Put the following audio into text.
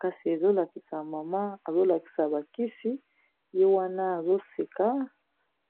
Kasi ezolakisa mama azolakisa bakisi ye wana azoseka